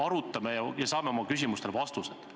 Arutame ja saame oma küsimustele vastused!